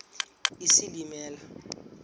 isilimela